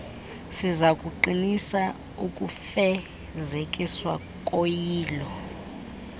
sizakuqinisa ukufezekiswa koyilo